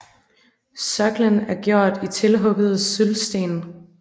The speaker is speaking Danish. Sokkelen er gjort i tilhuggede syldsten